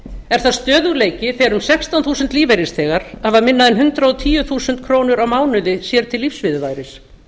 er það stöðugleiki þar um sextán þúsund lífeyrisþegar hafa minna en hundrað og tíu þúskr á mánuði sér til lífsviðurværis